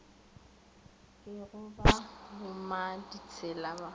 ke go ba bommaditsela ba